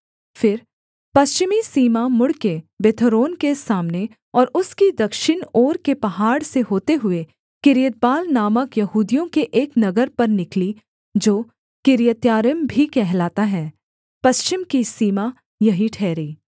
फिर पश्चिमी सीमा मुड़कर बेथोरोन के सामने और उसकी दक्षिण ओर के पहाड़ से होते हुए किर्यतबाल नामक यहूदियों के एक नगर पर निकली जो किर्यत्यारीम भी कहलाता है पश्चिम की सीमा यही ठहरी